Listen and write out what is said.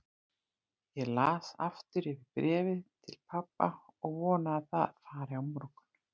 Ég las aftur yfir bréfið til pabba og vona að það fari á morgun.